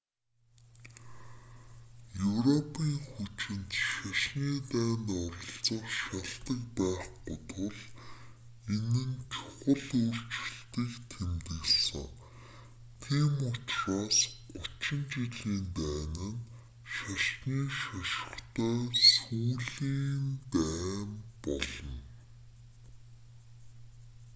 европийн хүчинд шашны дайнд оролцох шалтаг байхгүй тул энэ нь чухал өөрчлөлтийг тэмдэглэсэн тийм учраас гучин жилийн дайн нь шашны шошготой сүүлийн дайн болно